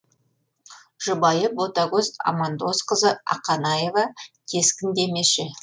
жұбайы ботагөз амандосқызы ақанаева кескіндемеші